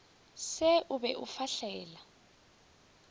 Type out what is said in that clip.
se o be o fahlele